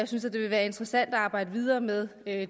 synes at det vil være interessant at arbejde videre med